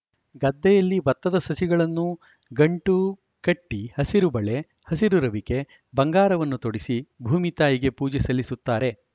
ಗದ್ದೆಯಲ್ಲಿ ಬತ್ತದ ಸಸಿಗಳನ್ನೂ ಗಂಟು ಕಟ್ಟಿಹಸಿರುಬಳೆ ಹಸಿರು ರವಿಕೆ ಬಂಗಾರವನ್ನು ತೊಡಸಿ ಭೂಮಿ ತಾಯಿಗೆ ಪೂಜೆ ಸಲ್ಲಿಸುತ್ತಾರೆ